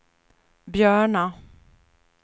Björna